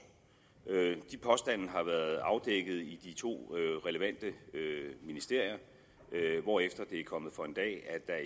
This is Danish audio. de påstande har været afdækket i de to relevante ministerier hvorefter det er kommet for en dag at